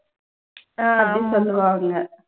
அப்படின்னு சொல்லுவாங்க.